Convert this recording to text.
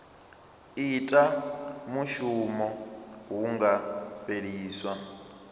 ita mushumo hu nga fheliswa